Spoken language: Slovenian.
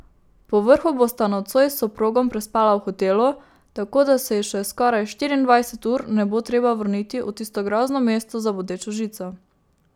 Povrhu bosta nocoj s soprogom prespala v hotelu, tako da se ji še skoraj štiriindvajset ur ne bo treba vrniti v tisto grozno mesto za bodečo žico.